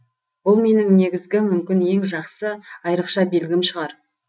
бұл менің негізгі мүмкін ең жақсы айрықша белгім шығар